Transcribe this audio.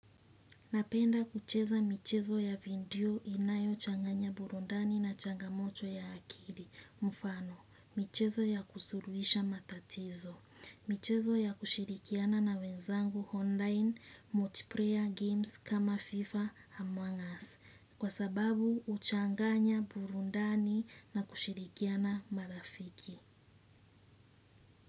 Napenda kucheza michezo ya video inayo changanya burudani na changamoto ya akili mfano. Michezo ya kusuluhisha matatizo michezo ya kushirikiana na wenzangu hondain multiplayer games kama FIFA Among Us. Kwa sababu huchanganya burudani na kushirikiana marafiki.